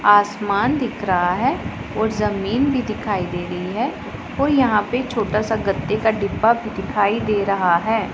आसमान दिख रहा है और जमीन भी दिखाई दे रही है और यहां पे छोटा सा गत्ते का डिब्बा दिखाई दे रहा है।